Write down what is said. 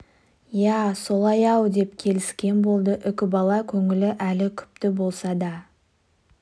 иә солай-ау деп келіскен болды үкібала көңілі әлі күпті болса да